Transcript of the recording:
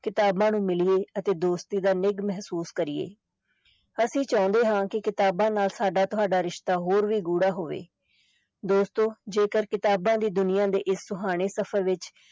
ਕਿਤਾਬਾਂ ਨੂੰ ਮਿਲੀਏ ਅਤੇ ਦੋਸਤੀ ਦਾ ਨਿੱਘ ਮਹਿਸੂਸ ਕਰੀਏ, ਅਸੀਂ ਚਾਹੁੰਦੇ ਹਾਂ ਕਿ ਕਿਤਾਬਾਂ ਨਾਲ ਸਾਡਾ ਤੁਹਾਡਾ ਰਿਸ਼ਤਾ ਹੋਰ ਵੀ ਗੂੜਾ ਹੋਵੇ, ਦੋਸਤੋ ਜੇਕਰ ਕਿਤਾਬਾਂ ਦੀ ਦੁਨੀਆਂ ਦੇ ਇਸ ਸੁਹਾਣੇ ਸਫ਼ਰ ਵਿੱਚ